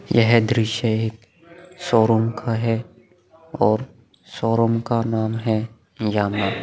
यह दृश्य एक शोरूम का है और शोरूम का नाम है यामाहा ।